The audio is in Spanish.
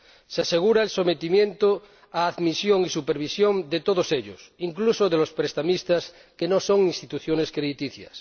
Se asegura el sometimiento a admisión y supervisión de todos ellos, incluso de los prestamistas que no son instituciones crediticias.